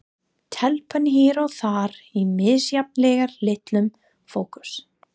Telpan hér og þar í misjafnlega litlum fókus.